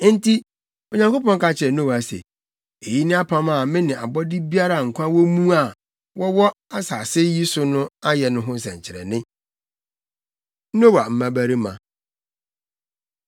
Enti Onyankopɔn ka kyerɛɛ Noa se, “Eyi ne apam a me ne abɔde biara a nkwa wɔ mu a wɔwɔ asase yi so ayɛ no ho nsɛnkyerɛnne.” Noa Mmabarima